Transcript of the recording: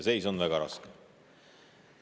Seis on väga raske.